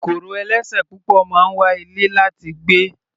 Kòkòrò ẹlẹ́sẹ̀ púpọ̀ máa ń wa ilẹ̀ láti gbé.